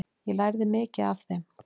Ég lærði mikið af þeim.